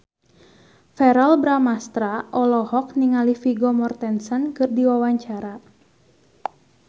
Verrell Bramastra olohok ningali Vigo Mortensen keur diwawancara